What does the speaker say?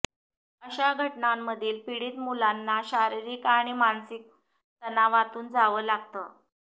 अशा घटनांमधील पीडित मुलांना शारिरीक आणि मानसिक तणावातून जावं लागतं